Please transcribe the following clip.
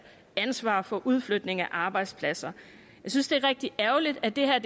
ansvar for udflytningen af arbejdspladser jeg synes det er rigtig ærgerligt at det her